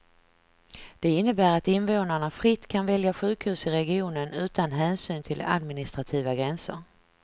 Det innebär att invånarna fritt kan välja sjukhus i regionen utan hänsyn till administrativa gränser.